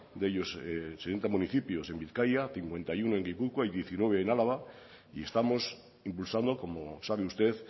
municipios en bizkaia cincuenta y uno en gipuzkoa y diecinueve en araba y estamos impulsando como sabe usted